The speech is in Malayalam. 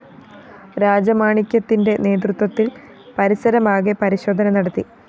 രാജമാണിക്യത്തിന്റെ നേതൃത്വത്തില്‍ പരിസരമാകെ പരിശോധന നടത്തി